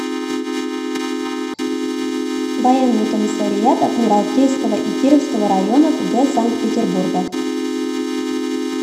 военный комиссариат адмиралтейского и кировского районов г санкт петербурга